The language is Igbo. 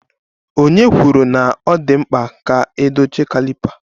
Onye kwuru na ọ dị mkpa ka a dochie caliper